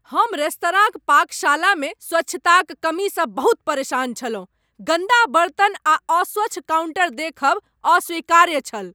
हम रेस्तराँक पाकशालामे स्वच्छताक कमीसँ बहुत परेशान छलहुँ। गन्दा बर्तन आ अस्वच्छ काउंटर देखब अस्वीकार्य छल ।